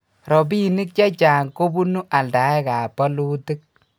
robinik chechang ko bunu aldaekab bolutik